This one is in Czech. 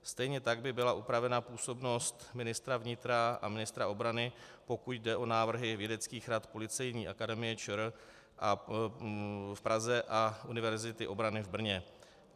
Stejně tak by byla upravena působnost ministra vnitra a ministra obrany, pokud jde o návrhy vědeckých rad Policejní akademie ČR v Praze a Univerzity obrany v Brně.